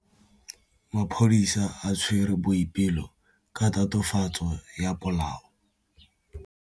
Maphodisa a tshwere Boipelo ka tatofatsô ya polaô.